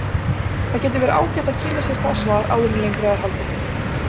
Það getur verið ágætt að kynna sér það svar áður en lengra er haldið.